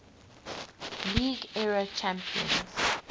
league era champions